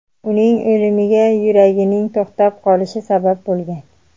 Uning o‘limiga yuragining to‘xtab qolishi sabab bo‘lgan.